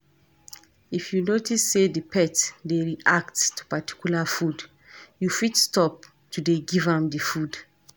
If you notice sey di pet dey react to particular food, you fit stop to dey give am di food